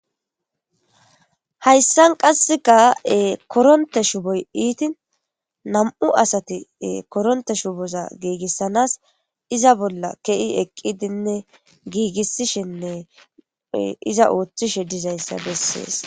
hayssan qasseka koronte shuboy iitin nam7u asati koronte shuboza giigissanas iza bolla ke7i eqqidinne giigissishenne iza ooththishe dizayssa bessees